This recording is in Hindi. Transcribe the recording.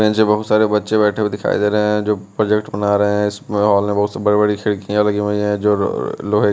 नीचे बहोत सारे बच्चे बैठे हुए दिखाई दे रहे हैं जो प्रोजेक्ट बना रहे हैं इसमें मोल में बहुत सी बड़ी बड़ी खिड़कियां लगी हुई हैं जो लोहे--